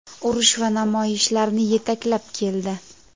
urush va namoyishlarni yetaklab keldi.